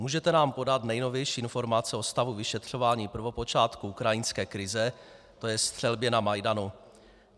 Můžete nám podat nejnovější informace o stavu vyšetřování prvopočátku ukrajinské krize, to je střelbě na Majdanu?